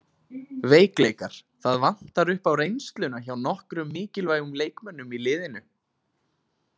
Veikleikar: Það vantar upp á reynsluna hjá nokkrum mikilvægum leikmönnum í liðinu.